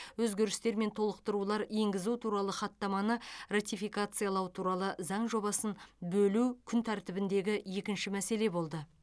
өзгерістер мен толықтырулар енгізу туралы хаттаманы ратификациялау туралы заң жобасын бөлу күн тәртібіндегі екінші мәселе болды